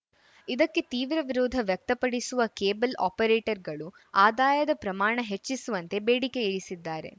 ಇದಕ್ಕೆ ತೀವ್ರ ವಿರೋಧ ವ್ಯಕ್ತಪಡಿಸುವ ಕೇಬಲ್‌ ಆಪರೇಟರ್‌ಗಳು ಆದಾಯದ ಪ್ರಮಾಣ ಹೆಚ್ಚಿಸುವಂತೆ ಬೇಡಿಕೆ ಇರಿಸಿದ್ದಾರೆ